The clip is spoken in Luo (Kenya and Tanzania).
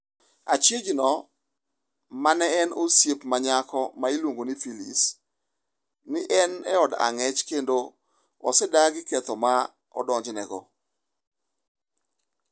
Achijno ma neen osiepne ma nyako ma iluongo ni Phylis, ni e od ang’ech kendo osedagi ketho ma odonjnego.